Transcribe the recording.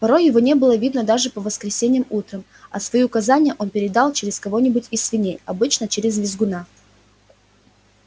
порой его не было видно даже по воскресеньям утром а свои указания он передавал через кого-нибудь из свиней обычно через визгуна